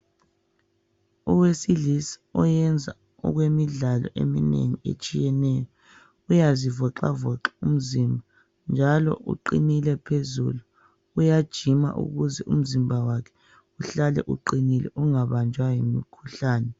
Owesilisa oyenza okwemidlalo eminengi etshiyeneyo uyazivoxavoxa umzimba njalo uqinile phezulu uyajima ukuze umzimba wakhe uhlale uqinile ungabanjwa yimikhuhlane